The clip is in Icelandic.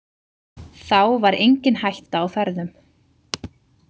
Þá var engin hætta á ferðum.